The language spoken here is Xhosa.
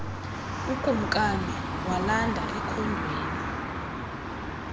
ukumkani walanda ekhondweni